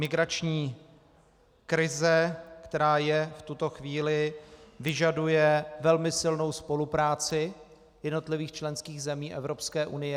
Migrační krize, která je v tuto chvíli, vyžaduje velmi silnou spolupráci jednotlivých členských zemí Evropské unie.